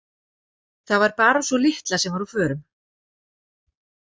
Það var bara sú litla sem var á förum.